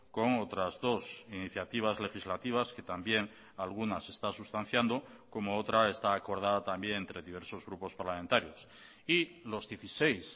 con otras dos iniciativas legislativas que también alguna se está sustanciando como otra está acordada también entre diversos grupos parlamentarios y los dieciséis